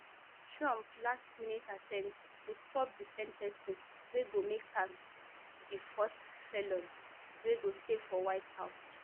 trump lastminute attempt to stop di sen ten cing wey go make am di first felon wey go stay for white house